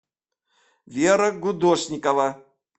вера гудошникова